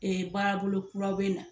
Ee baara bolo kura be na.